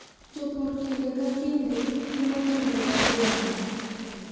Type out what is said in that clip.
Jopur kinde ka kinde timo timbe mag lamo